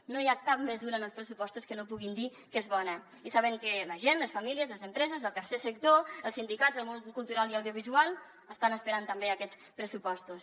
no hi ha cap mesura en els pressupostos que no puguin dir que és bona i saben que la gent les famílies les empreses el tercer sector els sindicats el món cultural i audiovisual estan esperant també aquests pressupostos